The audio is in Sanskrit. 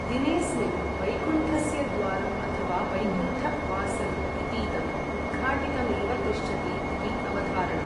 दिनेस्मिन् वैकुण्ठस्य द्वारम् अथवा वैकुण्ठ वासल इतीदम् उद्घाटितमेव तिष्ठति इति अवधारणा।